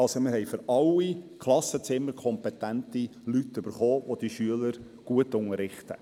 Wir haben für jedes Klassenzimmer kompetente Leute gefunden, welche die Kinder gut unterrichten.